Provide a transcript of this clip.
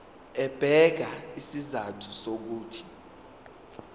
ebeka izizathu zokuthi